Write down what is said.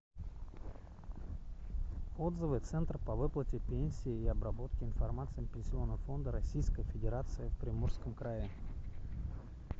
отзывы центр по выплате пенсий и обработке информации пенсионного фонда российской федерации в приморском крае